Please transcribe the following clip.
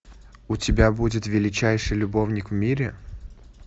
у тебя будет величайший любовник в мире